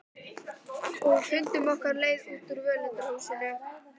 Og fundum okkar leið út úr völundarhúsinu.